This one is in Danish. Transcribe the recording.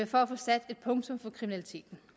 for at få sat et punktum for kriminaliteten